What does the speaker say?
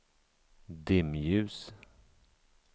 dimljus